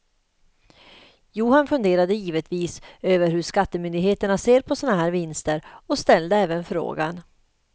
Johan funderade givetvis över hur skattemyndigheterna ser på sådana här vinster och ställde även frågan.